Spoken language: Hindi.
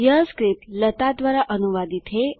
यह स्क्रिप्ट लता द्वारा अनुवादित है